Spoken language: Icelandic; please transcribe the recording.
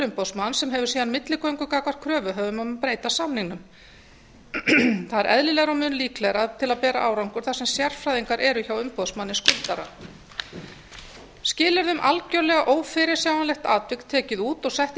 umboðsmanns sem hefur síðan milligöngu gagnvart kröfuhöfum um að breyta samningnum það er eðlilegra og mun líklegra til að bera árangur þar sem sérfræðingar eru hjá umboðsmanni skuldara skilyrði um algjörlega ófyrirsjáanlegt atvik er tekið út og sett